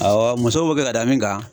Awɔ musow b'o kɛ k'a da min kan